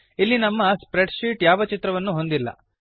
ಇಲ್ಲಿ ನಮ್ಮ spread sheet ಯಾವ ಚಿತ್ರವನ್ನು ಹೊಂದಿಲ್ಲ